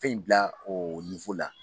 Fɛn in bila o la